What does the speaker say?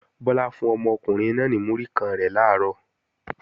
Bọ́lá fún ọmọkùnrin náà náà ní múrí kan rẹ̀ làárọ̀